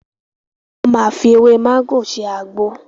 Wọ́n máa fi ewé mágò ṣe àgbo.